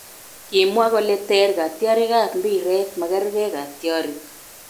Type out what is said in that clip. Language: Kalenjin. Kimwa kole ter katyarik ab mbiret, magargei katyarik